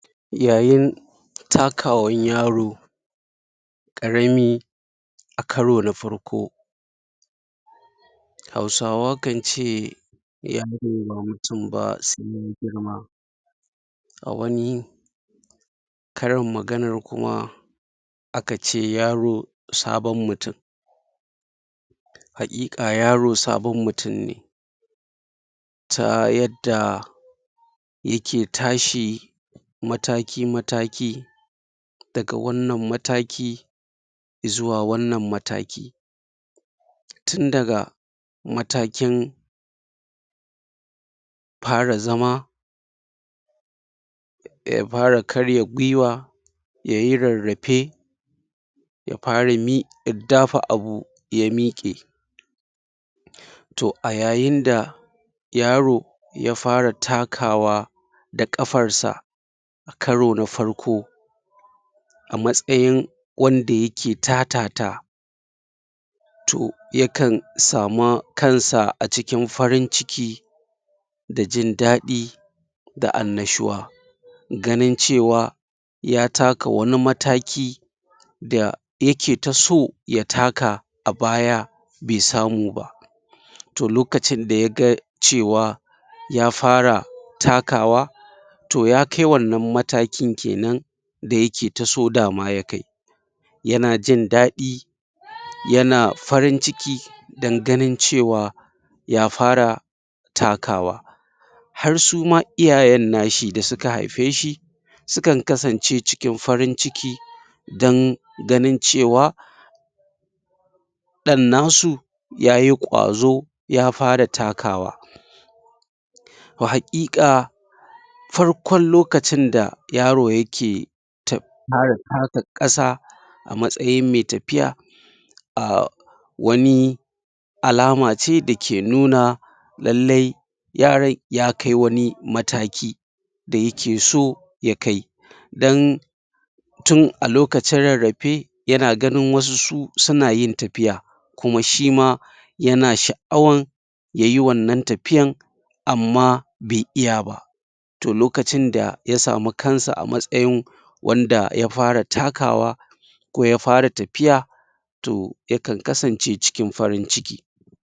Yayin takawan yaro ƙarami a karo na farko Hausawa kan ce yaro ba mutum ba sai ya girma a wani karin maganar kuma a kace yaro sabon mutum haƙiƙa yaro sabon mutum ne ta yadda yake tashi mataki-mataki daga wannnan mataki izuwa wannan mataki tun daga matakin fara zama ya fara karya guiwa ya yi rarrafe ya fara miƙar dafa abu ya miƙe to a yayin da yaro ya fara takawa da ƙafarsa a karo na farko a matsayin wanda yake ta-ta-ta to yakan samu kansa a cikin farin-ciki da jin daɗi da annashuwa ganin cewa ya taka wani mataki da yake ta so ya taka a baya bai samu ba to lokacin da ya ga cewa ya fara takawa to ya kai wannan matakin kenan yana jin dadi yana farin-ciki don ganin cewa ya fara takawa har su ma iyayen nashi da suka haife shi su kn kasance cikin farin-ciki don ɗan nasu ya yi ƙwazo ya fara takawa to haƙiƙa farkon lokacin da yaro yake? fara taka ƙasa a matsayin mai tafiya aah wani alama ce dake nuna lallai yaron ya kai wani mataki da yake so ya kai don tun a lokacin rarrafe yana ganin wasu su suna yin tafiya kuma shi ma yana sha'awar ya yi wannan tafiyar amma bai iya ba to lokacin da ya samu kansa a matsayin wanda ya fara takawa ko ya fara ta fiya to